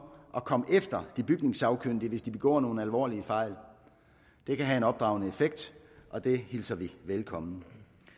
at komme efter de bygningssagkyndige hvis de begår nogle alvorlige fejl det kan have en opdragende effekt og det hilser vi velkommen